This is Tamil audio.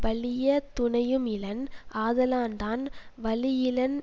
வலிய துணையும் இலன் ஆதலான் தான் வலியிலன்